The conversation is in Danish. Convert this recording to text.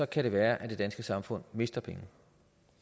kan det være at det danske samfund mister penge